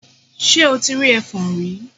Ṣe o ti rí ẹfọ̀n rí?